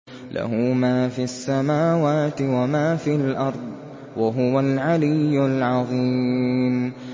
لَهُ مَا فِي السَّمَاوَاتِ وَمَا فِي الْأَرْضِ ۖ وَهُوَ الْعَلِيُّ الْعَظِيمُ